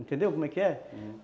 Entendeu como é que é?